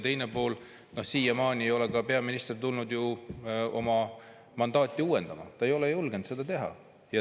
Ja siiamaani ei ole ka peaminister tulnud oma mandaati uuendama, ta ei ole julgenud seda teha.